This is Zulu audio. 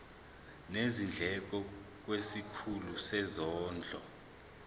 nezindleko kwisikhulu sezondlo